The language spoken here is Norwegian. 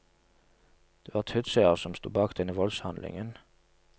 Det var tutsier som stod bak denne voldshandlingen.